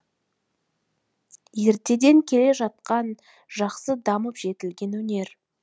ертеден келе жатқан жақсы дамып жетілген өнер